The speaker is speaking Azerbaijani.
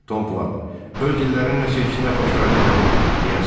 Tom Plat: Öz dillərini nə seçdirmək xoşlarına gəlir, deyəsən.